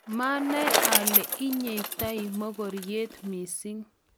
maanai ale ii inyete mokoriot mising'